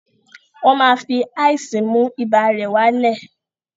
Wọ́n máa fi ice mú ibà rẹ̀ wá lẹ̀